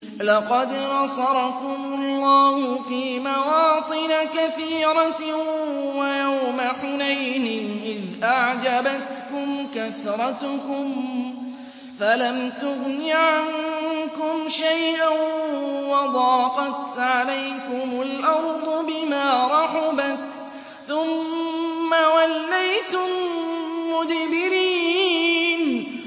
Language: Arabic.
لَقَدْ نَصَرَكُمُ اللَّهُ فِي مَوَاطِنَ كَثِيرَةٍ ۙ وَيَوْمَ حُنَيْنٍ ۙ إِذْ أَعْجَبَتْكُمْ كَثْرَتُكُمْ فَلَمْ تُغْنِ عَنكُمْ شَيْئًا وَضَاقَتْ عَلَيْكُمُ الْأَرْضُ بِمَا رَحُبَتْ ثُمَّ وَلَّيْتُم مُّدْبِرِينَ